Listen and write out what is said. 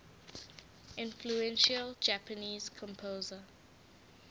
influential japanese composer